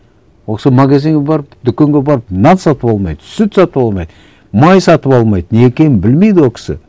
ол кісі магазинге барып дүкенге барып нан сатып алмайды сүт сатып алмайды май сатып алмайды не екенін білмейді ол кісі